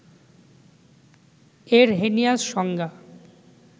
Arrhenius সংজ্ঞা,